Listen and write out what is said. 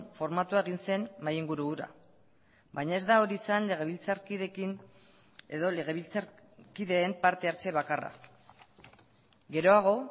formatua egin zen mahai inguru hura baina ez da hori izan legebiltzarkideekin edo legebiltzarkideen parte hartze bakarra geroago